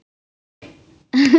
Gói